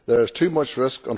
There is too much risk.